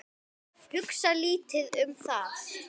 Hugsa lítið um það.